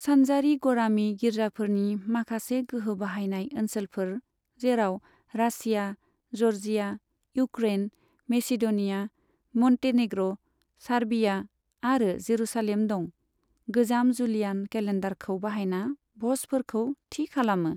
सानजारि गरामि गिर्जाफोरनि माखासे गोहो बाहायनाय ओनसोलफोर, जेराव Russia, Georgia, Ukraine, Macedonia, Montenegro, Serbia आरो जेरुसालेम दं, गोजाम जूलियान केलेन्डारखौ बाहायना भ'जफोरखौ थि खालामो।